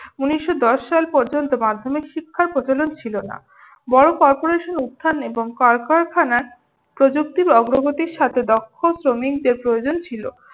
উনিশশ দশ সাল পর্যন্ত মাধ্যমিক শিক্ষার প্রচলন ছিল না। বড় corporation উত্থান এবং কলকারখানার প্রযুক্তির অগ্রগতিরসাথে দক্ষ শ্রমিকদের প্রয়জন ছিল।